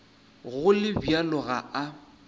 go le bjalo ga a